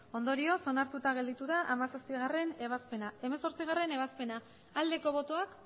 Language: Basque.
hogeita bi ondorioz onartuta gelditu da hamazazpigarrena ebazpena hemezortzigarrena ebazpena aldeko botoak